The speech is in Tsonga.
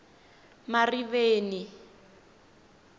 mariveni